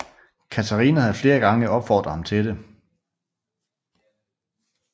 Catharina havde flere gange opfordret ham til det